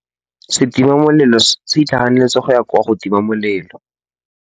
Setima molelô se itlhaganêtse go ya go tima molelô.